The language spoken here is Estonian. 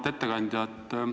Auväärt ettekandja!